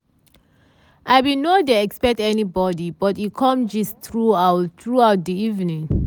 i bin nor dey expect anybody but we com gist throughout throughout di evening.